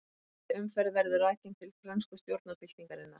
Hægri umferð verður rakin til frönsku stjórnarbyltingarinnar.